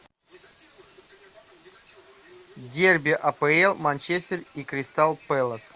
дерби апл манчестер и кристал пэлас